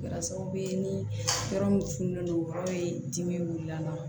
Kɛra sababu ye ni yɔrɔ min fununen don yɔrɔ in dimi wulila an na